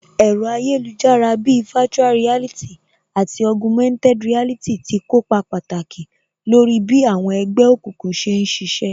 Ẹ̀rọ ayélujára bíi virtual reality àti Augumented reality tí kópa pàtàkì lórí bí àwọn ẹgbẹ́ òkùnkùn ṣe ń ṣiṣẹ́